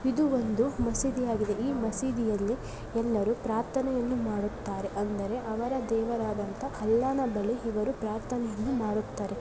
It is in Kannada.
ಇದು ಒಂದು ಮಸೀದಿಯಾಗಿದೆ ಈ ಮಸೀದಿಯಲ್ಲಿ ಎಲ್ಲರೂ ಪ್ರಾರ್ಥನೆಯನ್ನು ಮಾಡುತ್ತಾರೆ ಅಂದರೆ ಅವರ ದೇವರಾದ ಅಲ್ಲನನ್ನು ಇವರು ಪ್ರಾರ್ಥನೆಯನ್ನು ಮಾಡುತ್ತಾರೆ.